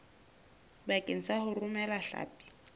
bakeng sa ho romela hlapi